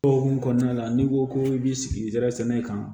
O hukumu kɔnɔna la n'i ko ko i b'i sigi zɛrɛn sɛnɛ kan